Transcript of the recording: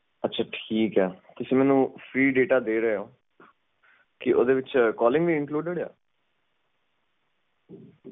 free datacalling icludedyes